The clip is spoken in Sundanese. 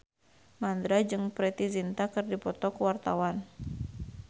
Mandra jeung Preity Zinta keur dipoto ku wartawan